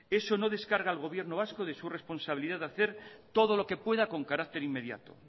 eso no descarga al gobierno vasco de su responsabilidad de hacer todo lo que pueda con carácter inmediato